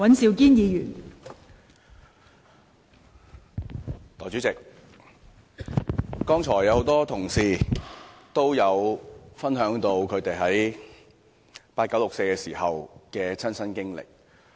代理主席，很多同事剛才分享了他們在八九六四時的親身經歷。